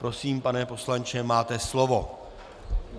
Prosím, pane poslanče, máte slovo.